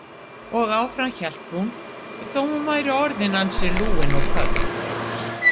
Og áfram hélt hún þó hún væri orðin ansi lúin og köld.